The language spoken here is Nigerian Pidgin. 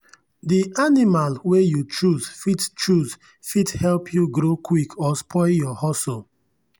the animal wey you choose fit choose fit help you grow quick or spoil your hustle.